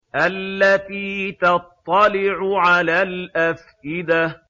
الَّتِي تَطَّلِعُ عَلَى الْأَفْئِدَةِ